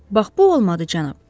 Bax bu olmadı, cənab.